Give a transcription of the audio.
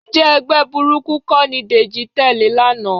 Ǹjẹ́ ẹgbẹ́ burúkú kọ́ ni Dèjì tẹ̀lé lánàá?